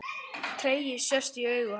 Tregi sest í augu hans.